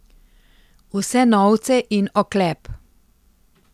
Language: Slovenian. Vse novce in oklep.